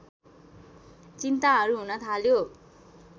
चिन्ताहरू हुन थाल्यो